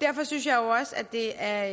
derfor synes jeg også det er